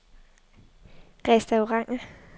restauranter